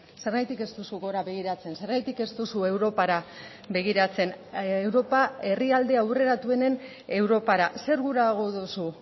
zergatik ez duzu gora begiratzen zergatik ez duzu europara begiratzen europa herrialde aurreratuenen europara zer gurago duzu